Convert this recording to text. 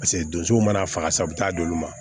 Paseke donsow mana faga sa u bɛ taa d'olu ma